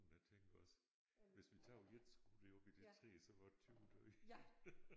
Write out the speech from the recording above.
Jeg tænker også hvis vi tager ét skud op i det træ så var 20 døde